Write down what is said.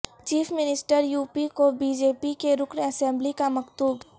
chief minister U P کو B J P کے رکن اسمبلی کا مکتوب